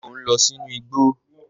Ṣé ọ n lọ sí ìgbò?